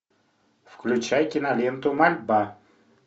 включай киноленту мольба